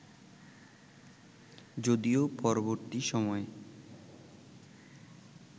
যদিও পরবর্তী সময়ে